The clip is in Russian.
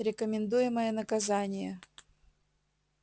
рекомендуемое наказание